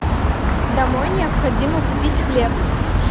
домой необходимо купить хлеб